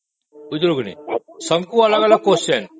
ବୁଝିଲୁ କି ନାହିଁ ସମସ୍ତଙ୍କୁ ଅଲଗା ଅଲଗା question